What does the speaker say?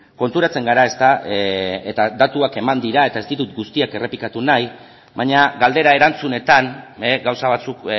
konturatzen gara eta datuak eman dira eta ez ditut guztiak errepikatu nahi baina galdera erantzunetan gauza batzuk